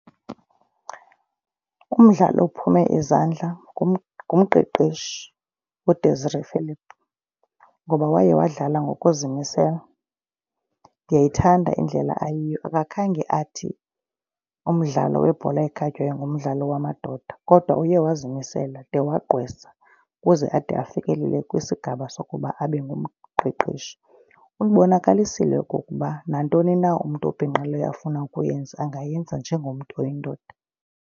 Umdlali ophume izandla ngumqeqeshi uDesere Phillip ngoba waye wadlala ngokuzimisela. Ndiyayithanda indlela ayiyo akakhange athi umdlalo webhola ekhatywayo ngumdlalo wamadoda. Kodwa uye wayezimisele de wagqwesa ukuze ade afikelele kwisigaba sokuba abe ngumqeqeshi. Ubonakalisile okokuba nantoni na umntu obhinqileyo afuna ukuyenza angayenza njengomntu oyindoda.